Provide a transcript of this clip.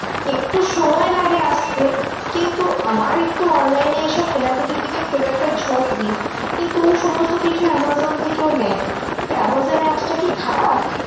একটু সময় লাগে আসতে কিন্তু আমার একটু online এ এইসব কেনাকাটার দিকে খুব একটা ঝোক নেই। কিন্তু ও সমস্ত কিছু আমাজন থেকেও নেয়। তা আমাজন apps টা কি খারাপ?